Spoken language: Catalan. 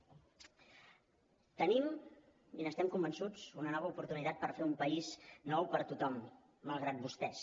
tenim i n’estem convençuts una nova oportunitat per fer un país nou per a tothom malgrat vostès